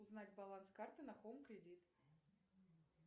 узнать баланс карты на хоум кредит